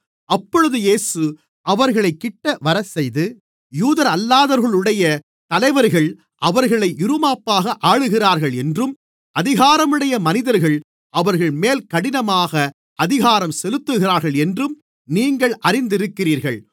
அப்பொழுது இயேசு அவர்களைக் கிட்டவரச்செய்து யூதரல்லாதவர்களுடைய தலைவர்கள் அவர்களை இறுமாப்பாக ஆளுகிறார்கள் என்றும் அதிகாரமுடைய மனிதர்கள் அவர்கள்மேல் கடினமாக அதிகாரம் செலுத்துகிறார்கள் என்றும் நீங்கள் அறிந்திருக்கிறீர்கள்